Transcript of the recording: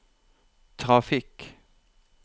trafikk